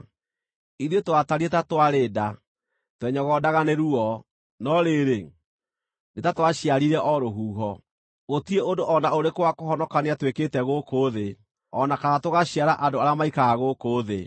Ithuĩ twatariĩ ta twarĩ nda, twenyogondaga nĩ ruo, no rĩrĩ, nĩ ta twaciarire o rũhuho. Gũtirĩ ũndũ o na ũrĩkũ wa kũhonokania twĩkĩte gũkũ thĩ, o na kana tũgaciara andũ arĩa maikaraga gũkũ thĩ.